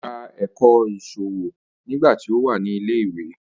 Ó ka ẹ̀kọ́ ìṣòwò nígbà tí ó wà ní ilẹ̀ ìwé